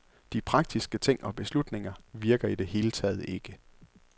De praktiske ting og beslutninger virker i det hele taget ikke.